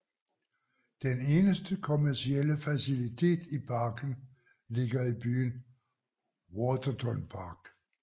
Den eneste kommercielle facilitet i parken ligger i byen Waterton Park